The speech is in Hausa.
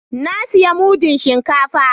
Na siya mudun shinkafa